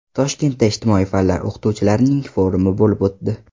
Toshkentda ijtimoiy fanlar o‘qituvchilarining forumi bo‘lib o‘tdi.